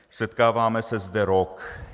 Setkáváme se zde rok.